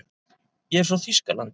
Ég er frá Þýskalandi.